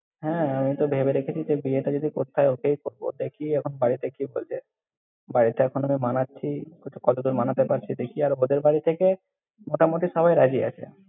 হ্যাঁ, আমি তো ভেবে রেখেছি যে বিয়ে টা যদি করতে হয়, ওকেই করব। দেখি, এখন বাড়িতে কি বলবে! বাড়িতে এখনও মানাচ্ছি, বলছি কতদূর মানাতে পারছি দেখি আর, ওদের বাড়ি থেকে মোটামুটি সবাই রাজি আছে।